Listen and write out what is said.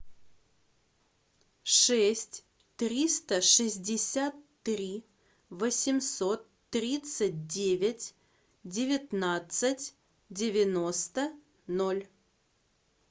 шесть триста шестьдесят три восемьсот тридцать девять девятнадцать девяносто ноль